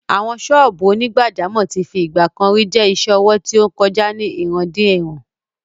Àwọn sọ́ọ̀bù onígbàjámọ̀ tí fi ìgbà kan rí jẹ́ isẹ́ ọwọ́ tí ó ń kọjá láti ìrandéìran.